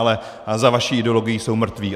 Ale za vaší ideologií jsou mrtví.